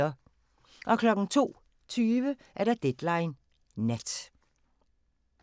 02:20: Deadline Nat